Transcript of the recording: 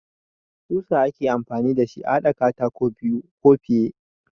Ƙusa ake amfani da shi a haɗa katako biyu ko fiye.